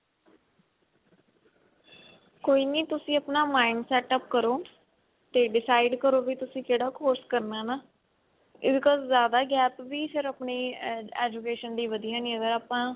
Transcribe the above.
ਕੋਈ ਨੀ ਤੁਸੀਂ ਆਪਣਾ mind setup ਕਰੋ ਤੇ decide ਕਰੋ ਵੀ ਤੁਸੀਂ ਕਿਹੜਾ course ਕਰਨਾ ਹੈ ਹਨਾ because ਜਿਆਦਾ gap ਵੀ ਫੇਰ ਆਪਣੀ education ਦੇ ਲਈ ਵਧਿਆ ਨਹੀਂ ਹੈਗਾ